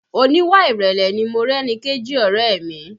Oníwà ìrẹ̀lẹ̀ ni Morẹ́nikéjì ọ̀rẹ́ ẹ̀ mi